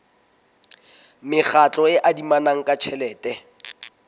mekgatlo e adimanang ka tjhelete